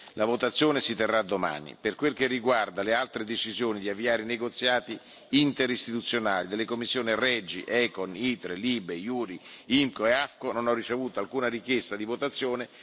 La votazione si terrà domani. Per quel che riguarda le altre decisioni di avviare negoziati interistituzionali delle commissioni REGI, ECON, ITRE, LIBE, JURI, IMCO e AFCO, non ho ricevuto alcuna richiesta di votazione.